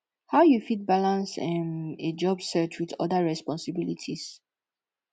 how you fit balance um a job search with oda responsibilites